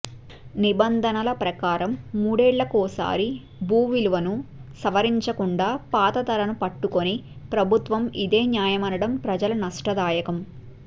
నిబంధనల ప్రకారం మూడేళ్లకోసారి భూవిలువను సవరించకుండా పాత ధర ను పట్టుకొని ప్రభుత్వం ఇదే న్యాయమనడం ప్రజల నష్ట దాయకం